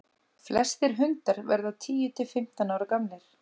flestir hundar verða tíu til fimmtán ára gamlir